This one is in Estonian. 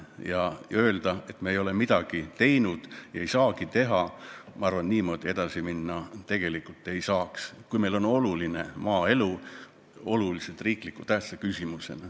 Ma arvan, et niimoodi edasi minna ei saa – öelda, et me ei ole midagi teinud ja ei saagi teha –, kui maaelu on meile olulise tähtsusega riiklik küsimus.